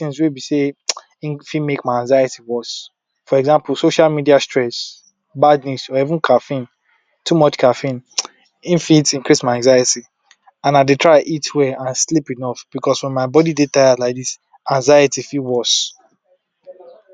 of times wey be sey, things wey b sey we dey neglect, hin con dey very important.